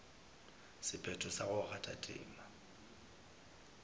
sephetho sa go kgatha tema